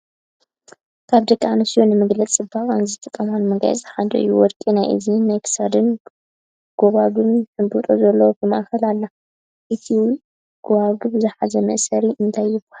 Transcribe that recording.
ካብ ደቂ ኣንስትዮ ንመግለፂ ፅባቀአን ዝትቀማሉ መጋየፂታት ሓደ እዩ ። ወርቂ ናይ እዝኒን ናይ ክሳድን ጎባጉብ ሕብጦ ዘለዋ ብ ማእከላ ኣላ ። ነቲ ገዋጉው ዝሓዞ መእሰሪ እንታይ ትበሃል ?